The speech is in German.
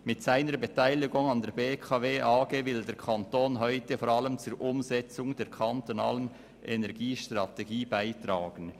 «Mit seiner Beteiligung an der BKW AG will der Kanton heute vor allem zur Umsetzung der kantonalen Energiestrategie beitragen.